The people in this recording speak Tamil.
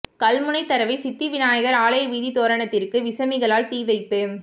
கல்முனை தரவை சித்தி விநாயகர் ஆலய வீதி தோரணத்திற்கு விசமிகளால் தீ வைப்பு